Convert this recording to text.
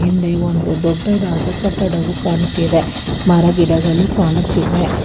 ಹಿಂದೆ ಒಂದು ದೊಡ್ಡದಾದ ಕಟ್ಟಡವು ಕಾಣುತ್ತಿದೆ ಮರಗಿಡಗಳು ಕಾಣುತ್ತಿವೆ.